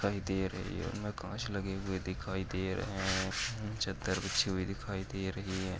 दिखाई दे रही है। उनमें काँच लगे हुए दिखाई दे रहे हैं। चद्दर बीछी हुई दिखाई दे रही है।